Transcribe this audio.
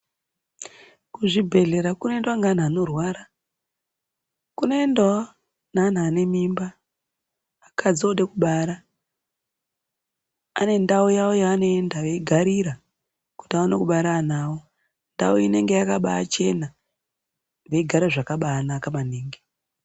Kuzvibhedhlera kunoendwa ngaanhu ankrwara kunoendwawo neanhu ane mimba akadzi ode kubara ane ndau yawo yaanoenda veigarira kuti vaone kubara ana awo ndau inenge yakabaa chena veigare zvakabaanaka maningi.